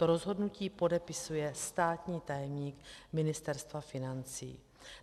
To rozhodnutí podepisuje státní tajemník Ministerstva financí.